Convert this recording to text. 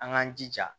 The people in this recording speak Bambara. An k'an jija